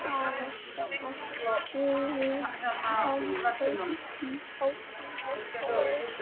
Það vantar allt eðlilegt samhengi í hausinn á þér.